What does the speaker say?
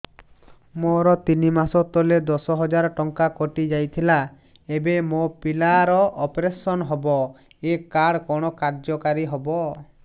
ମୋର ତିନି ମାସ ତଳେ ଦଶ ହଜାର ଟଙ୍କା କଟି ଯାଇଥିଲା ଏବେ ମୋ ପିଲା ର ଅପେରସନ ହବ ଏ କାର୍ଡ କଣ କାର୍ଯ୍ୟ କାରି ହବ